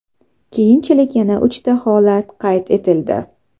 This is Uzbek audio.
Keyinchalik yana uchta holat qayd etildi.